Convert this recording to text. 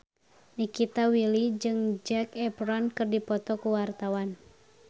Nikita Willy jeung Zac Efron keur dipoto ku wartawan